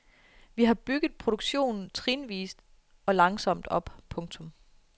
Vi har bygget produktionen trinvist og langsomt op. punktum